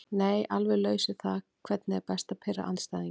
Nei alveg laus við það Hvernig er best að pirra andstæðinginn?